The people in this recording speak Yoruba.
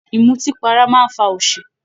Ìmùtí para máa ń fa òṣì